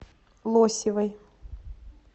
лосевой